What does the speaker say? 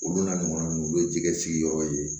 Olu n'a ɲɔgɔnna ninnu olu ye jɛgɛ sigiyɔrɔ ye